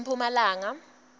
emphumalanga